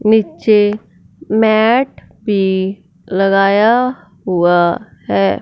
नीचे मैट भी लगाया हुआ है।